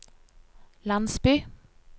landsby